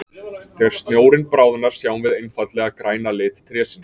Þegar snjórinn bráðnar sjáum við einfaldlega græna lit trésins.